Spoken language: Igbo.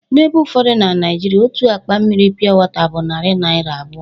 N'ebe ụfọdụ na Naịjirịa, otu akpa mmiri piọwọta bụ narị naira abụọ.